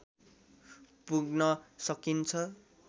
पुग्न सकिन्छ